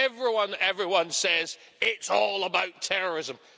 Everyone says, it's all about terrorism'.